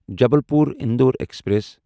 Jabalpur Indore express